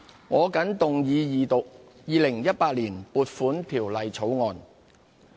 我謹動議二讀《2018年撥款條例草案》。